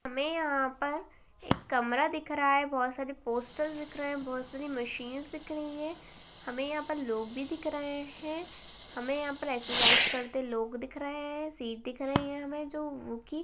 हमें यहाँ पर एक कमरा दिख रहा है। बहुत सारे पोस्टर्स दिख रहे है। बहुत सारी मशीन्स दिख रही है। हमे यहाँ पर लोग भी दिख रहे है। हमे यहा पर एक्सरसाइज करते लोग दिख रहे है। सीट दिख रही है। हमे जो की --